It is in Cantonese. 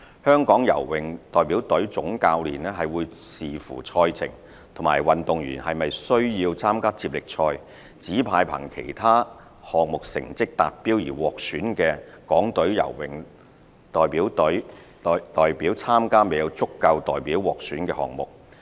香港游泳代表隊總教練會視乎賽程和運動員是否需要參加接力賽，指派憑其他項目成績達標而獲選的港隊游泳代表參加未有足夠代表獲選的項目。